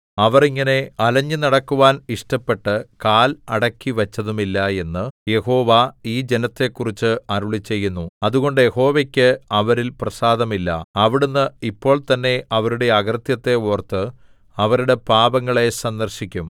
അവർ ഇങ്ങനെ അലഞ്ഞുനടക്കുവാൻ ഇഷ്ടപ്പെട്ട് കാൽ അടക്കിവച്ചതുമില്ല എന്ന് യഹോവ ഈ ജനത്തെക്കുറിച്ച് അരുളിച്ചെയ്യുന്നു അതുകൊണ്ട് യഹോവയ്ക്ക് അവരിൽ പ്രസാദമില്ല അവിടുന്ന് ഇപ്പോൾതന്നെ അവരുടെ അകൃത്യത്തെ ഓർത്ത് അവരുടെ പാപങ്ങളെ സന്ദർശിക്കും